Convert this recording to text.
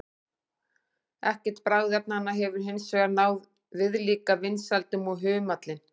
Ekkert bragðefnanna hefur hins vegar náð viðlíka vinsældum og humallinn.